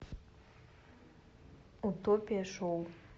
утопия шоу